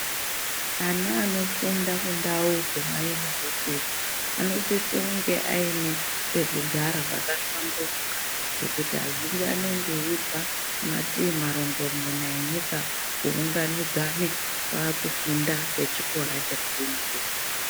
Ana anofunda kundau dzemayunivesiti, anosiso kunge ayine pekugara pakahlamburuka, pekuti azhinji anenge eyibva mativimarongomune enyika, kuwunganidzane vakufunda vechikora chepa yunivesiti.